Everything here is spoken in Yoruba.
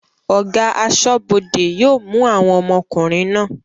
Ọ̀gá aṣọ́bọdè yóò mú àwọn ọmọkùnrin náà